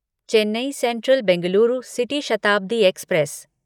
Chennai central Bengaluru city Shatabdi express